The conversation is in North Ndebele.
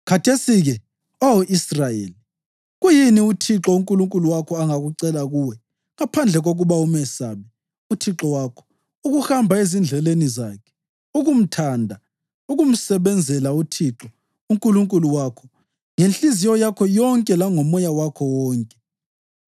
“Khathesi-ke, Oh Israyeli, kuyini uThixo uNkulunkulu wakho angakucela kuwe ngaphandle kokuba umesabe uThixo wakho, ukuhamba ezindleleni zakhe, ukumthanda, ukumsebenzela uThixo uNkulunkulu wakho ngenhliziyo yakho yonke langomoya wakho wonke,